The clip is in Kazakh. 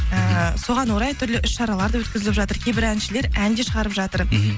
ыыы соған орай түрлі іс шаралар да өткізіліп жатыр кейбір әншілер ән де шығарып жатыр мхм